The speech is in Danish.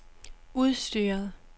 udstyret